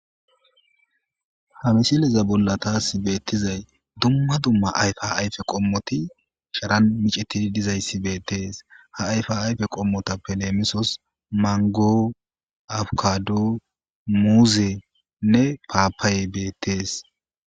Haa misileza bolla tasi betizayi dumma dumma ayifa ayiffe qommoti sharanni micettid dizayiss betees.haa ayifa ayife qomotappe lemosos ,maniggo ,abikkado,muzzle nne papayayi betees.